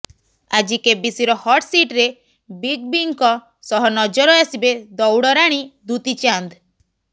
ଆଜି କେବିସିର ହଟସିଟରେ ବିଗ୍ ବିଙ୍କ ସହ ନଜର ଆସିବେ ଦୌଡରାଣୀ ଦୂତି ଚାନ୍ଦ୍